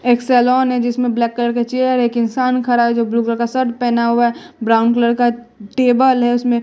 एक सैलोन है जिसमें ब्लैक कलर का चेयर है एक इंसान खड़ा है जो ब्लू कलर का शर्ट पहना हुआ हैं ब्राउन कलर का टेबल है उसमें--